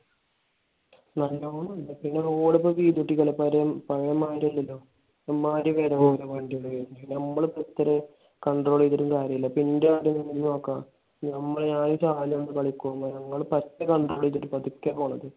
നല്ലോണം ഇണ്ട്. പിന്നെ road ഇപ്പൊ വീതി കൂട്ടിയിരിക്കണ്. പഴയ മാതിരി അല്ലല്ലോ. വണ്ടി . നമ്മൾ ഇപ്പൊ എത്ര control കാര്യം ഇല്ല. ഇപ്പൊ എന്റെ കാര്യം തന്നെ നീ നോക്ക. നമ്മൾ. ഞാൻ control ചെയ്തിട്ട് പതുക്കെയാ പോണത്.